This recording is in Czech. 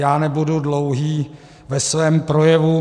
Já nebudu dlouhý ve svém projevu.